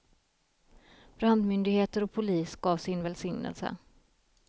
Brandmyndigheter och polis gav sin välsignelse.